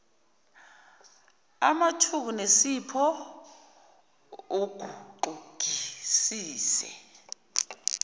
amthuku nensipho uguxungisise